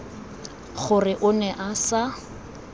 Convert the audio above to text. gore o ne a sa